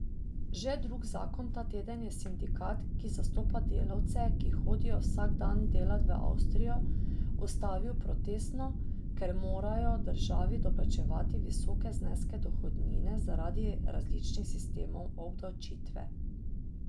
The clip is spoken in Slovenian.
Že drug zakon ta teden je sindikat, ki zastopa delavce, ki hodijo vsak dan delat v Avstrijo, ustavil protestno, ker morajo državi doplačevati visoke zneske dohodnine zaradi različnih sistemov obdavčitve.